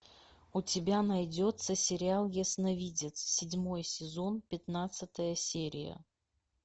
у тебя найдется сериал ясновидец седьмой сезон пятнадцатая серия